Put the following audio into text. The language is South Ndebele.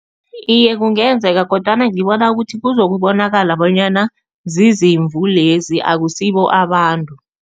Iye, kungenzeka kodwana ngibona ukuthi kuzokubonakala bonyana zizimvu lezi, akusibo abantu.